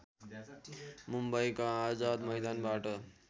मुम्बईको आजाद मैदानबाट